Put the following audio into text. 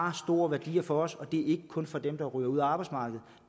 har store værdier for os og det er ikke kun for dem der ryger ud af arbejdsmarkedet